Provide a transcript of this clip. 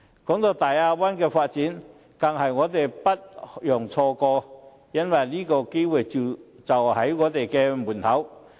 談到大灣區的發展，我們更是不容錯過，因為這機會就在我們的門口。